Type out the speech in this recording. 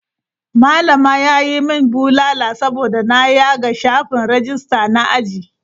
Malama ya yi min bulala saboda na yaga shafin rajista na aji.